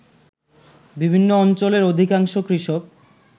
বিভিন্ন অঞ্চলের অধিকাংশ কৃষক